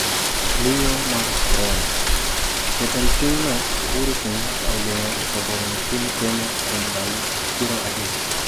Miyo mar Korona: Jatend pinyno Uhuru Kenyatta ogeng' uso kong'o e piny Kenya kuom ndalo 30